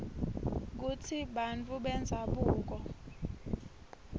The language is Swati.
kutsi bantfu bendzabuko